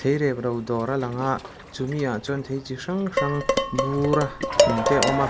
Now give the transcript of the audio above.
thei rep ro dawr a lang a chumi ah chuan thei chi hrang hrang bura thun te a awm a.